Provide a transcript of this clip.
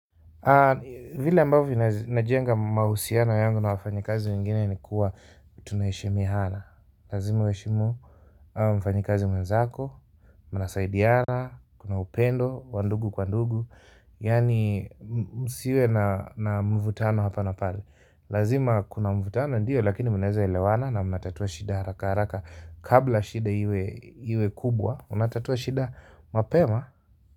Vile ambavyo najenga mahusiano yangu na wafanyakazi wengine ni kuwa tunaheshmiana. Lazima uheshimu mfanyakazi mwenzako, mnasaidiana, kuna upendo, wa ndugu kwa ndugu yani msiwe na mvutano hapa na pale. Lazima kuna mvutano ndio lakini mnaweza elewana na mnatatua shida haraka haraka, kabla shida iwe kubwa, mnatatua shida mapema.